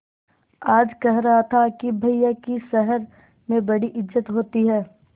आज कह रहा था कि भैया की शहर में बड़ी इज्जत होती हैं